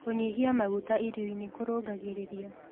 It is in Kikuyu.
Kũnyĩhĩa magũta irio-ĩnĩ kũrũngagĩrĩrĩa